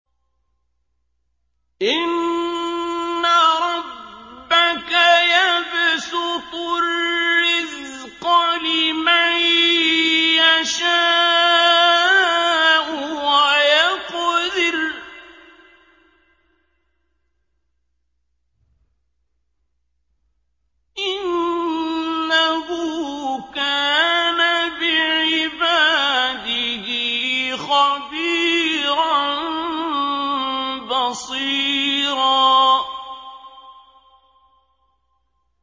إِنَّ رَبَّكَ يَبْسُطُ الرِّزْقَ لِمَن يَشَاءُ وَيَقْدِرُ ۚ إِنَّهُ كَانَ بِعِبَادِهِ خَبِيرًا بَصِيرًا